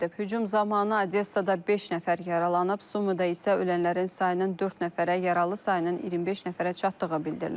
Hücum zamanı Odessada beş nəfər yaralanıb, Sumidə isə ölənlərin sayının dörd nəfərə, yaralı sayının 25 nəfərə çatdığı bildirilir.